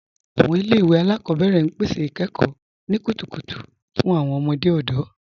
Awọn ilẹ̀-iwe alákọbẹ̀rẹ̀ n pẹ̀sẹ̀ ikẹ́kọ̀ ni kútùkùtù fún awọn ọmọdé ọdọ.